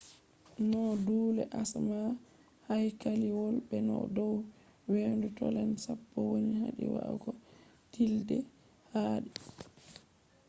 noo duulee asama haykaliwol be no dow weendu tonle sap woni wadi wa’ago tillde haadii